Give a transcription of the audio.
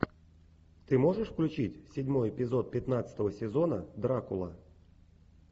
ты можешь включить седьмой эпизод пятнадцатого сезона дракула